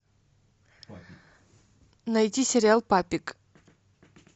найти сериал папик